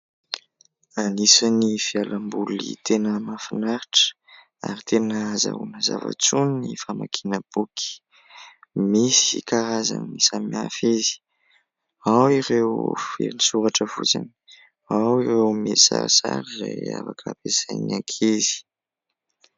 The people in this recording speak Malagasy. Anisan'ny fialamboly tena mahafinaritra ary tena ahazoana zava-tsoa ny famakiana boky. Misy karazany samihafa izy, ao ireo feno soratra fotsiny, ao ireo misy sarisary izay afaka hampiasain'ny ankizy.